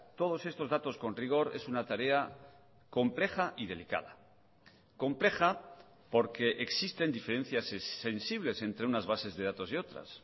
todos estos datos con rigor es una tarea compleja y delicada compleja porque existen diferencias sensibles entre unas bases de datos y otras